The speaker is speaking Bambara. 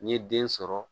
N ye den sɔrɔ